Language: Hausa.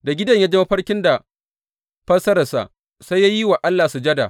Da Gideyon ya ji mafarkin da fassararsa, sai ya yi wa Allah sujada.